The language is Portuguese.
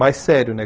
Mais sério, né?